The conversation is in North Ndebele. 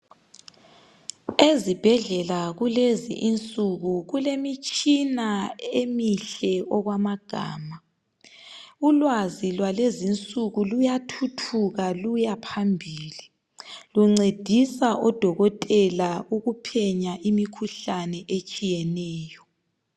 Ezibhedlela kulezinsuku kulemitshina emihle okwamagama. Ulwazi lwalwezinsuku luyathuthuka luyaphambili. Luncedisa odokotela ukuphenya imikhuhlane etshiyeneyo.